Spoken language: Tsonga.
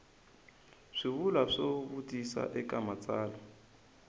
swivulwa swo vutisa eka matsalwa